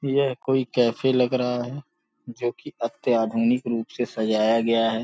ये कोई कैफ़े लग रहा है जो कि अत्य आधुनिक रुप से सजाया गया है।